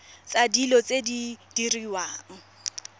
tsa dilo tse di diriwang